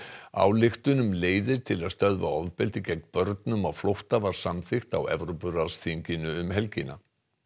ályktun um leiðir til að stöðva ofbeldi gegn börnum á flótta var samþykkt á Evrópuráðsþinginu um helgina